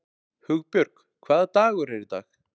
Hugbjörg, hvaða dagur er í dag?